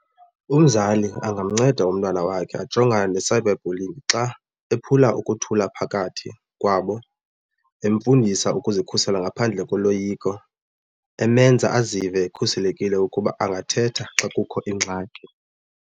Umzali angamnceda umntwana wakhe ajongana ne-cyber bullying xa ephula ukuthula phakathi kwabo, emfundisa ukuzikhusela ngaphandle koloyiko, emenza azive ekhuselekile ukuba angathetha xa kukho ingxaki.